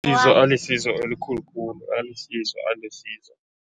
Alisizo elikhulu khulu, alisizo alisizo.